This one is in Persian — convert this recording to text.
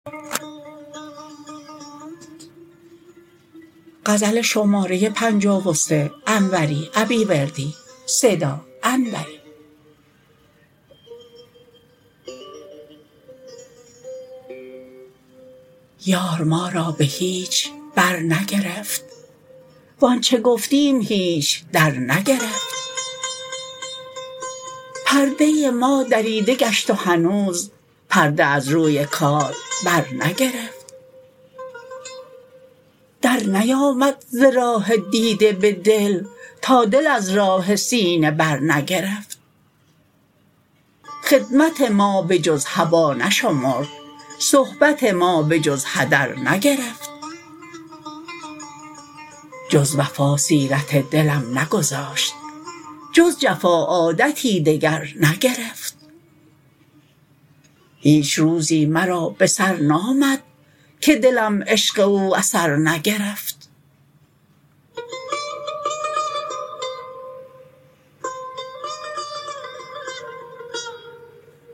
یار ما را به هیچ برنگرفت وانچه گفتیم هیچ درنگرفت پرده ما دریده گشت و هنوز پرده از روی کار برنگرفت درنیامد ز راه دیده به دل تا دل از راه سینه برنگرفت خدمت ما به جز هبا نشمرد صحبت ما به جز هدر نگرفت جز وفا سیرت دلم نگذاشت جز جفا عادتی دگر نگرفت هیچ روزی مرا به سر نامد که دلم عشق او ز سر نگرفت